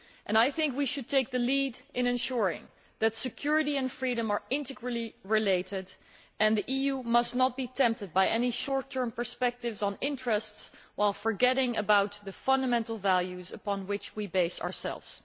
I think that we should take the lead in ensuring that security and freedom are integrally related and the EU must not be tempted by any short term perspectives on interests while forgetting about the fundamental values upon which we base ourselves.